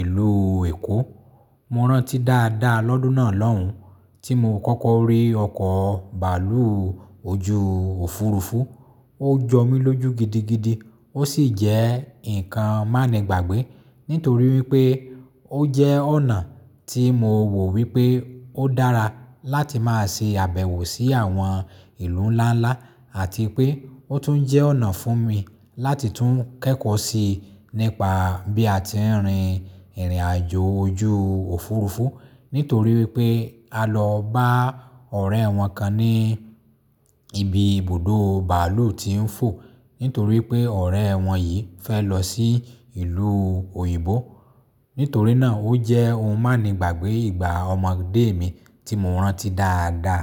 ìlú Èkó. Mo rántí dáadáa lọ́dún náà lọ́hùn-ún tí mo kọ́kọ́ rí ọkọ̀ bàálù ojú òfuurufú. Ó jọ mí lójú gidigidi, ó sì jẹ́ nǹkan má le gbàgbé nítorí pé ó jẹ́ ọ̀nà tí mo wò wípé ó dára láti máa ṣe àbẹ̀wò sí àwọn ìlú ńláńlá àti pé ó tún jẹ́ ọ̀nà fún mi láti tún kẹ́kọ̀ọ́ sí i nípa bí a ti ń rin ìrìnàjò ojú òfurufú. Nítorí wipé a lọ bá ọ̀rẹ́ wọn kan ní ibi ibùdó bàálù tí ń fò nítorí pé ọ̀rẹ́ wọn yìí fẹ́ lọ sí ìlú òyìnbó. Nítorí náà ó jẹ́ ohun má ni gbàgbé ìgbà ọmọdé mi tí mo rántí dáadáa.